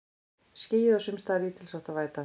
Skýjað og sums staðar lítilsháttar væta